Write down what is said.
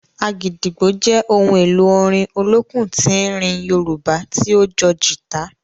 “Agidigbo” jẹ ohun èlò orin olókùn tín-ín-rín Yorùbá tí ó jọ gita.